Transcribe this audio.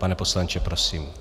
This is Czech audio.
Pane poslanče, prosím.